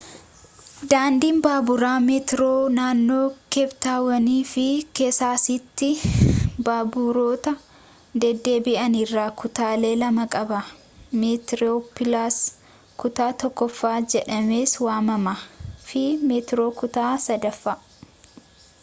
daandiin baaburaa meetroo naannoo keeptaawon fi keessasaatti baaburoota deddeebi’an irraa kutaalee lama qaba: meetiroopilaas kutaa tokkoffaa jedhamees waamama fi meetiroo kutaa 3ffaa